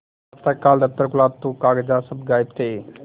प्रातःकाल दफ्तर खुला तो कागजात सब गायब थे